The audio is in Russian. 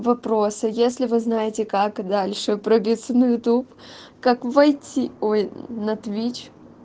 вопрос а если вы знаете как дальше пробиться на ютуб как войти ой на твич